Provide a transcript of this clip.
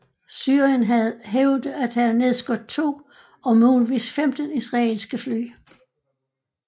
Syrien hævde at have nedskudt to og muligvis 15 israelske fly